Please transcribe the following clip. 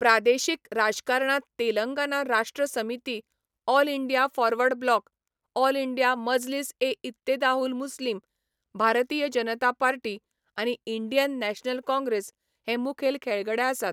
प्रादेशिक राजकारणांत Telangana Rashtra Samithi, All India Forward Bloc, All India Majlis e Ittehadul Muslimeen, Bharatiya Janata Party आनी इंडियन नॅशनल काँग्रेस हे मुखेल खेळगडे आसात.